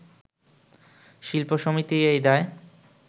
শিল্পী সমিতি এই দায়